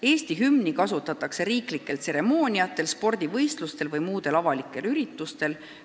Eesti hümni kasutatakse riiklikel tseremooniatel, spordivõistlustel või muudel avalikel üritustel.